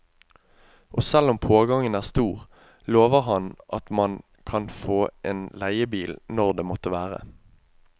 Og selv om pågangen er stor, lover han at man kan få en leiebil når det måtte være.